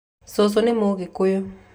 Cũcũ nĩ mũgĩkũyũ